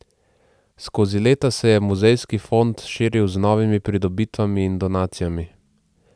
Skozi leta se je muzejski fond širil z novimi pridobitvami in donacijami.